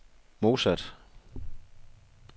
modsat